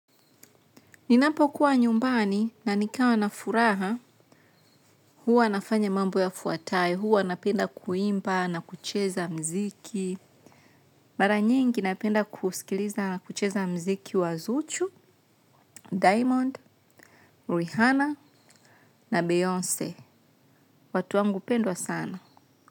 Ninapokuwa nyumbani na nikawa na furaha, huwa nafanya mambo yafuatayo, huwa napenda kuimba, na kucheza mziki, mara nyingi napenda kusikiliza na kucheza mziki wa zuchu, diamond, rihana na beyonce. Watu wangu pendwa sana.